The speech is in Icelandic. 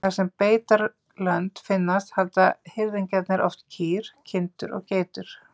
Þar sem beitarlönd finnast halda hirðingjarnir oft kýr, kindur og geitur.